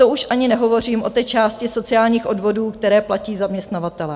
To už ani nehovořím o té části sociálních odvodů, které platí zaměstnavatelé.